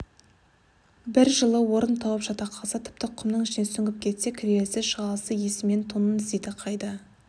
бір жылы орын тауып жата қалса тіпті құмның ішіне сүңгіп кетсе кіресілі-шығасылы есімен тонын іздейді қайда